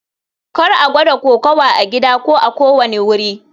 Kar a gwada kokawa a gida ko a kowane wuri.